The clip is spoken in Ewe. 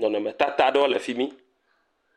Nɔnɔme tata aɖewo le fimi.